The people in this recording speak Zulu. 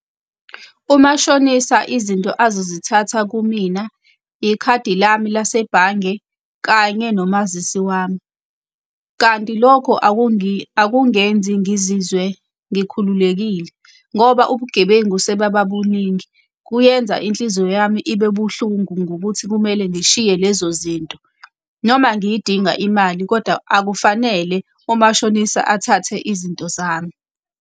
Umashonisa izinto azozithatha kumina ikhadi lami lasebhange, kanye nomazisi wami. Kanti lokho akungenza ngizizwe ngikhululekile, ngoba ubugebengu sebababuningi. Kuyenza inhliziyo yami ibe buhlungu ngokuthi kumele ngishiye lezo zinto. Noma ngiyidinga imali, kodwa akufanele umashonisa athathe izinto zami.